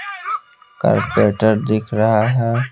Carpenter दिख रहा है।